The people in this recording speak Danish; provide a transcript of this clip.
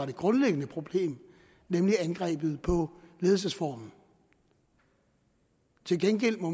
det grundlæggende problem nemlig angrebet på ledelsesformen til gengæld må